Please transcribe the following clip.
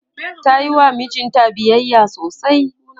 tayiwa mijinta biyayya sosai